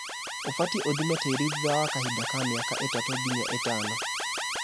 ũbatie ũthime tĩri thutha wa kahida ka mĩaka ĩtatũ nginya ĩtano.